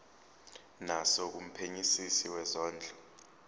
naso kumphenyisisi wezondlo